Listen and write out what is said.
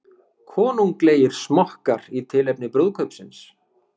Konunglegir smokkar í tilefni brúðkaupsins